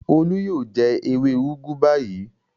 Olú yóò jẹ ewé úgú báyìí.